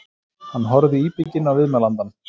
Hann horfði íbygginn á viðmælandann.